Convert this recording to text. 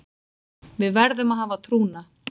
Við verðum að hafa trúna